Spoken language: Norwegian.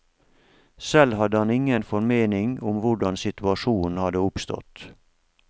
Selv hadde han ingen formening om hvordan situasjonen hadde oppstått.